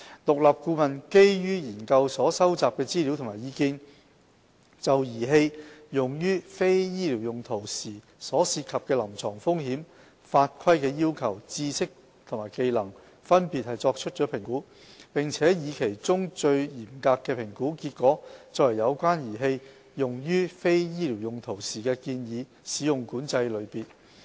獨立顧問基於研究所收集的資料和意見，就儀器用於非醫療用途時所涉及的臨床風險、法規要求、知識和技能，分別作出評估，並以其中最嚴格的評估結果作為有關儀器用於非醫療用途時的建議使用管制類別。